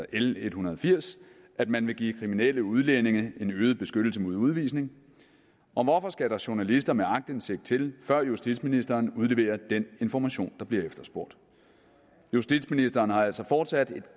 l en hundrede og firs at man vil give kriminelle udlændinge øget beskyttelse mod udvisning og hvorfor skal der journalister med aktindsigt til før justitsministeren udleverer den information der bliver efterspurgt justitsministeren har altså fortsat et